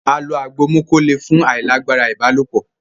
a lò àgbò moko lẹ fún ailagbara ibalopo